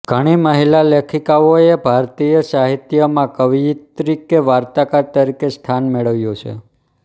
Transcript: ઘણી મહિલા લેખિકાઓએ ભારતીય સાહિત્યમાં કવિયત્રી કે વાર્તાકાર તરીકે સ્થાન મેળવ્યું છે